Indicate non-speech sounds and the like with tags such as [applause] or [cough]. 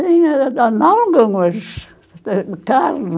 Tinha [unintelligible] de carne.